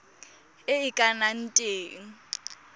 e e ka nnang teng